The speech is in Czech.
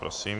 Prosím.